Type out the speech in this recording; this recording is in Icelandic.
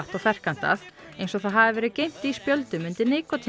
og ferkantað eins og það hafi verið geymt í spjöldum undir